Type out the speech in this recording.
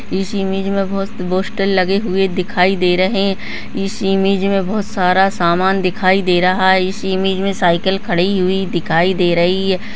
इस इमेज में बहोत पोस्टर लगे हुए दिखाई दे रहे हैं इस इमेज में बहोत सारा सामान दिखाई दे रहा है इस इमेज में साईकिल खड़ी हुई दिखाई दे रही है।